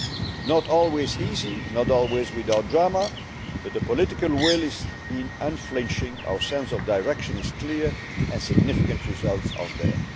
It was not always easy, not always without drama, but the political will has been unflinching, our sense of direction is clear and significant results are there.